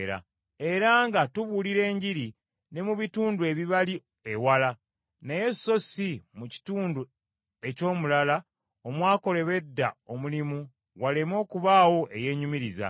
era nga tubuulira Enjiri ne mu bitundu ebibali ewala, naye so si mu kitundu eky’omulala omwakolebwa edda omulimu waleme okubaawo eyeenyumiriza.